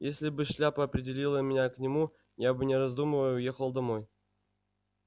если бы шляпа определила меня к нему я бы не раздумывая уехал домой